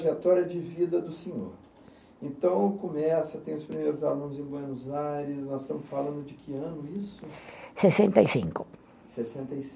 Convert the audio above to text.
Trajetória de vida do senhor. Então começa, tem os primeiros alunos em Buenos Aires, nós estamos falando de que ano isso? Sessenta e cinco. Sessenta e